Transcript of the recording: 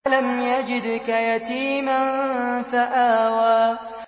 أَلَمْ يَجِدْكَ يَتِيمًا فَآوَىٰ